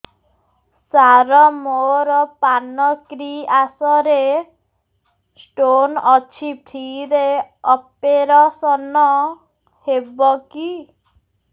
ସାର ମୋର ପାନକ୍ରିଆସ ରେ ସ୍ଟୋନ ଅଛି ଫ୍ରି ରେ ଅପେରସନ ହେବ କି